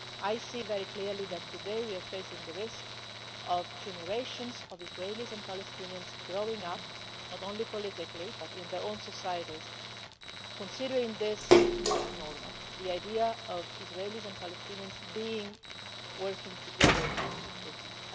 I see very clearly that today we are facing the risk of generations of Israelis and Palestinians growing up not only politically but in their own societies considering this not to be normal, the idea of Israelis and Palestinians working together for peace.